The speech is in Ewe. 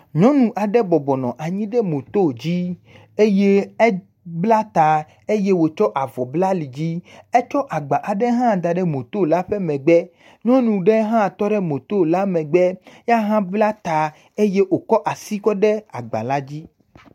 Nyɔnu aɖe moto dzi eye ebla ta eye wòtsɔ avɔ bla alidzi. Etsɔ agba aɖe hã da ɖe motola ƒe megbe. Nyɔnu ɖe hã tɔ ɖe motola megbe ya hã bla ta eye wòkɔ asi kɔ ɖe agbala dzi.